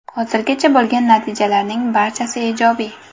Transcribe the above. Hozirgacha bo‘lgan natijalarning barchasi ijobiy.